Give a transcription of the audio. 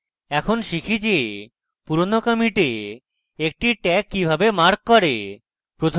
এখন শিখি যে পুরানো কমিটে একটি tag কিভাবে mark করে